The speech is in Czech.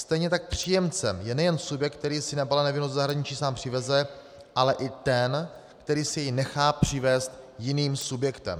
Stejně tak příjemcem je nejen subjekt, který si nebalené víno do zahraniční sám přiveze, ale i ten, který si jej nechá přivést jiným subjektem.